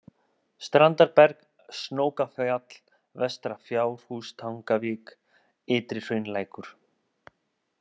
Strandarberg, Snókafjall, Vestra-Fjárhústangavik, Ytri-Hraunlækur